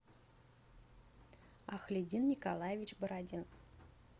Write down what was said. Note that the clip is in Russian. ахлидин николаевич бородин